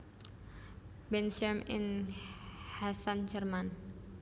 Bensheim ing Hessen Jerman